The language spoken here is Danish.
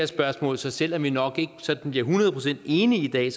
spørgsmål så selv om vi nok ikke bliver hundrede procent enige i